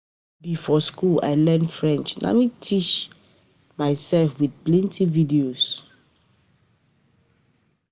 No be for skool I learn French, na me teach na me teach mysef wit plenty video.